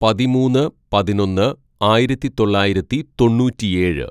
"പതിമൂന്ന് പതിനൊന്ന് ആയിരത്തിതൊള്ളായിരത്തി തൊണ്ണൂറ്റിയേഴ്‌